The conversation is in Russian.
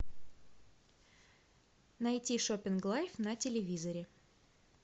найти шоппинг лайф на телевизоре